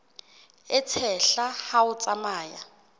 e tshehla ha o tsamaya